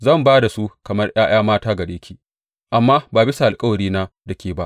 Zan ba da su kamar ’ya’ya mata gare ki, amma ba bisa alkawarina da ke ba.